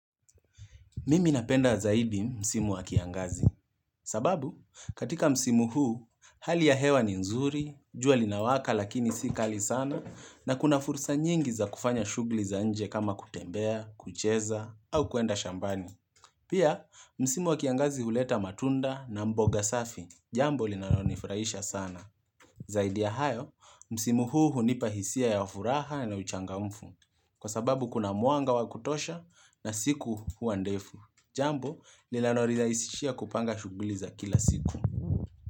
Mimi napenda zaidi msimu wa kiangazi. Sababu, katika msimu huu, hali ya hewa ni nzuri, jua linawaka lakini si kali sana, na kuna fursa nyingi za kufanya shughuli za nje kama kutembea, kucheza, au kuenda shambani. Pia, msimu wa kiangazi huleta matunda na mboga safi, jambo linalonifurahisha sana. Zaidi ya hayo, msimu huu hunipa hisia ya furaha na uchangamfu. Kwa sababu, kuna mwanga wa kutosha na siku huwa ndefu. Jambo linalo nirahisishia kupanga shughuli za kila siku.